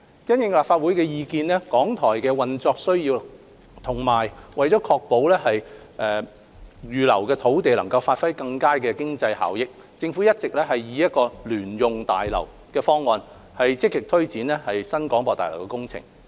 因應立法會的意見、港台的運作需要，以及為確保預留的土地能發揮更佳的經濟效益，政府一直以聯用大樓的方案積極推展新廣播大樓工程。